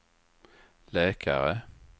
läkare